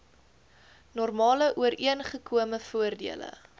normale ooreengekome voordele